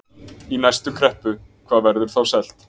Í næstu kreppu, hvað verður þá selt?